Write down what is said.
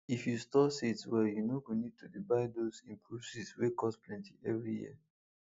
if you store seeds well you no go need to dey buy those improved seeds wey cost plenty every year